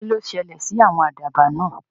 Kí ló ṣẹ̀lẹ̀ sí àwọn àdàbà náà?